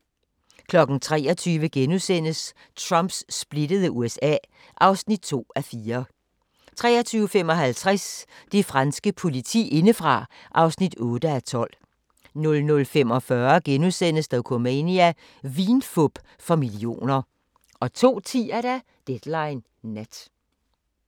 23:00: Trumps splittede USA (2:4)* 23:55: Det franske politi indefra (8:12) 00:45: Dokumania: Vinfup for millioner * 02:10: Deadline Nat